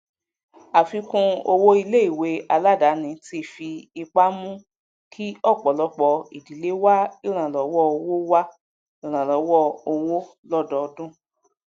àfikún owó iléìwé aladani ti fi ipá mú kí ọpọlọpọ ìdílé wá ìrànlọwọ owó wá ìrànlọwọ owó lọdọodún